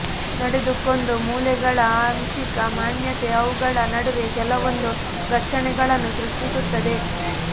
ನಡೆದುಕೊಂಡು ಮೂಳೆಗಳ ಆಂಶಿಕ ಮಾನ್ಯತೆ ಅವುಗಳ ನಡುವೆ ಕೆಲವೊಂದು ಘರ್ಷಣೆಗಳನ್ನು ಸೃಷ್ಟಿಸುತ್ತದೆ